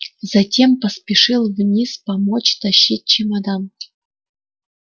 затем поспешил вниз помочь тащить чемодан